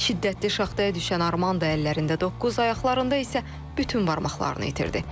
Şiddətli şaxtaya düşən Armando əllərində doqquz, ayaqlarında isə bütün barmaqlarını itirdi.